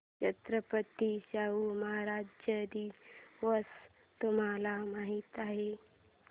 छत्रपती शाहू महाराज दिवस तुम्हाला माहित आहे